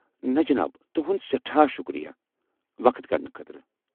نَہ، جناب، تُہُنٛد سٮ۪ٹھاہ شُکریا وقت کڈنہٕ خٲطرٕ!